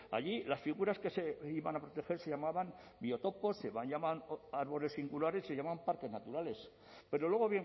allí las figuras que se iban a proteger se llamaban biotopos se llamaban árboles singulares se llamaban parques naturales pero luego